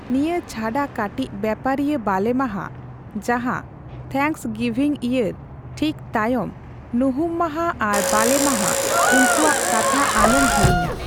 ᱱᱤᱭᱟᱹ ᱪᱷᱟᱰᱟ ᱠᱟᱹᱴᱤᱡ ᱵᱮᱯᱟᱨᱤᱭᱟᱹ ᱵᱟᱞᱮᱢᱟᱦᱟ, ᱡᱟᱦᱟ ᱛᱷᱮᱝᱠᱚᱥᱜᱤᱵᱷᱤᱝᱭᱮᱨ ᱴᱷᱤᱠ ᱛᱟᱭᱢ ᱧᱩᱦᱩᱢᱢᱟᱦᱟ ᱟᱨ ᱵᱟᱞᱮᱢᱟᱦᱟ, ᱩᱱᱠᱚᱣᱟᱜ ᱠᱟᱛᱷᱟ ᱟᱞᱩᱢ ᱦᱤᱲᱤᱧᱟ᱾